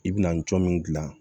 I bɛna cɔ min gilan